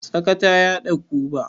Tsaka ta yaɗa guba.